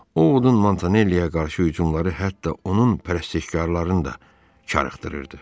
Ovodun Montanelliyə qarşı hücumları hətta onun pərəstişkarlarını da çaşdırırdı.